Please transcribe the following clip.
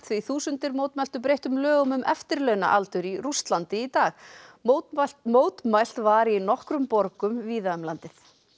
þúsundir mótmæltu breyttum lögum um eftirlaunaaldur í Rússlandi í dag mótmælt mótmælt var í nokkrum borgum víða um landið